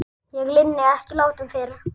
Ég linni ekki látum fyrr.